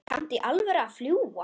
Kanntu í alvöru að fljúga?